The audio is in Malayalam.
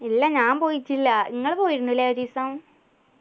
ഇല്ല ഞാൻ പോയിറ്റില്ല നിങ്ങള് പോയിരുന്നല്ലേ ഒരീസം